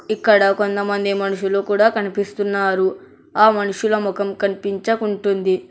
ఇక్కడ కొంతమంది మనుషులు కూడా కనిపిస్తున్నారు ఆ మనుషుల ముఖం కనిపించకుంటుంది.